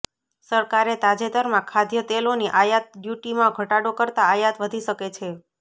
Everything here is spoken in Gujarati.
સરકારે તાજેતરમાં ખાદ્યતેલોની આયાત ડયૂટીમાં ઘટાડો કરતા આયાત વધી શકે છે